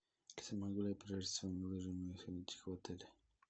в отеле